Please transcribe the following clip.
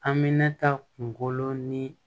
Aminata kunkolo ni